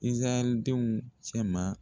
Izayɛli denw cɛ ma.